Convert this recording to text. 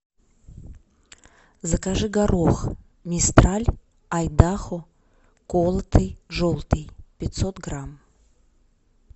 закажи горох мистраль айдахо колотый желтый пятьсот грамм